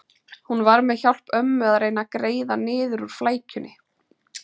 Hún var með hjálp ömmu að reyna að greiða niður úr flækjunni.